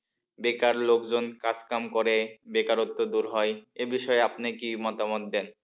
বেকার লোকজন কাজ কাম করে বেকারত্ব দূর হয় এ বিষয়ে আপনি কি মতামত দেন?